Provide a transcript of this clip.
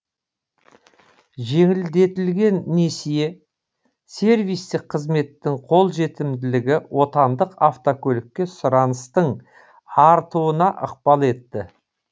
жеңілдетілген несие сервистік қызметтің қолжетімділігі отандық автокөлікке сұраныстың артуына ықпал етті